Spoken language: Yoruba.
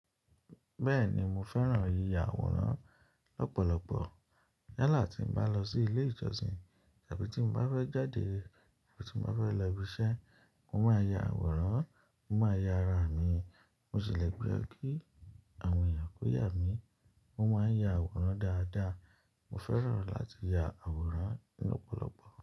Bẹ́ẹ̀ni mo fẹ́ràn yìyà àwòrán lọ́pọ̀lọpọ̀. Yala tí mo bá lọ sí ilé ìjọsìn tàbí tí mo bá fẹ́ jáde abi tí mo bá fẹ́ lọ ibi iṣẹ́, mo máa ya àwòrán, mo máa ya ara mi. Mo sì lè pe kí àwọn èèyàn kòóyà mi, mo máa ń ya àwòrán dáadáa. Mo fẹ́ràn láti ya àwòrán ní opọ̀lọpọ̀.